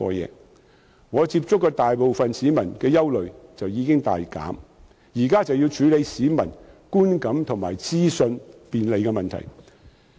因此，我接觸到的大部分市民的憂慮已經大減，現時只須處理市民觀感和資訊便利的問題。